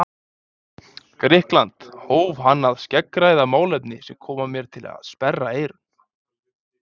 Grikkland, hóf hann að skeggræða málefni sem kom mér til að sperra eyrun.